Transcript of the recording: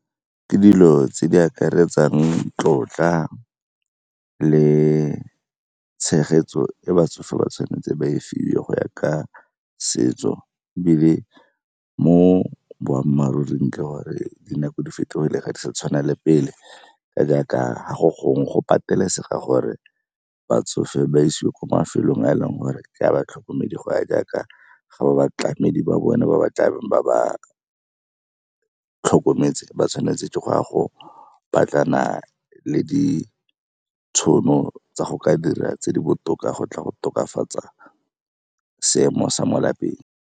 Ke dilo tse di akaretsang tlotla le tshegetso e batsofe ba tshwanetse ba e fiwe go ya ka setso ebile mo boammaaruring ke gore dinako di fetogile, ga di sa tshwana le pele jaaka ha go gongwe go pateletsega gore batsofe ba isiwe kwa mafelong a e leng gore ke a batlhokomedi go ya jaaka ga ba batlamedi ba bone ba ba tlabeng ba ba tlhokometse. Ba tshwanetse ke go a go batlana le ditšhono tsa go ka dira tse di botoka go tla go tokafatsa seemo sa mo lapeng.